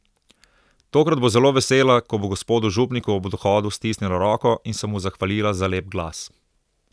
Tokrat bo zelo vesela, ko bo gospodu župniku ob odhodu stisnila roko in se mu zahvalila za lep glas.